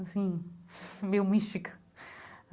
Assim, meio mística.